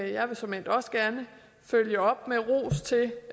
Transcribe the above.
jeg vil såmænd også gerne følge op med ros til